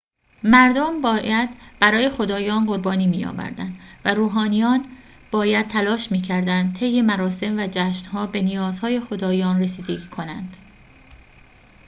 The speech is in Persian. مردم باید برای خدایان قربانی می‌آوردند و روحانیان باید تلاش می‌کردند طی مراسم و جشن‌ها به نیازهای خدایان رسیدگی کنند